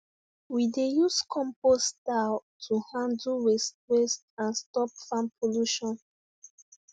we dey use compost style to handle waste waste and stop farm pollution